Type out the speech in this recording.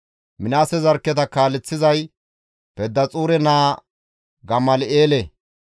Minaase zarkketa kaaleththizay Pedaxuure naa Gamal7eele.